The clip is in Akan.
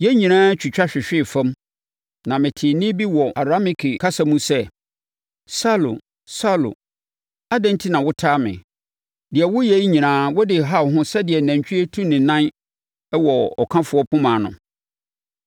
Yɛn nyinaa twitwa hwehwee fam na metee nne bi wɔ Arameike kasa mu sɛ, ‘Saulo! Saulo! Adɛn enti na wotaa me? Deɛ woyɛ yi nyinaa wode reha wo ho sɛdeɛ nantwie tu ne nan wɔ ɔkafoɔ poma ano.’